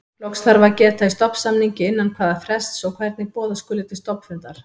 Loks þarf að geta í stofnsamningi innan hvaða frests og hvernig boða skuli til stofnfundar.